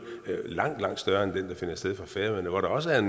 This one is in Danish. langt langt større end den der finder sted fra færøerne hvor der også er